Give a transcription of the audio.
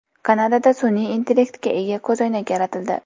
Kanadada sun’iy intellektga ega ko‘zoynak yaratildi.